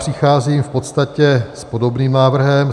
Přicházím v podstatě s podobným návrhem.